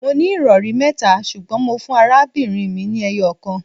Mó ní ìrọri mẹ́ta ṣùgbọ́n mó fún arábìnrin mi ni eyokan